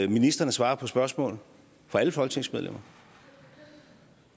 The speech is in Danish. ministrene svarer på spørgsmål fra alle folketingsmedlemmer